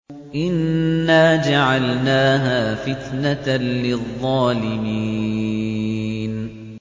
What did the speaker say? إِنَّا جَعَلْنَاهَا فِتْنَةً لِّلظَّالِمِينَ